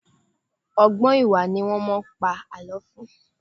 Ọ̀gbọ́n ìwà ni wọ́n máa ń pa àlọ́ fún.